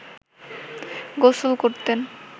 গোসল করতেন